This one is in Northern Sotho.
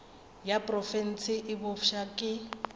ya profense e bopša ke